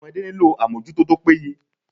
Ọmọdé nílò àmójútó tó péye.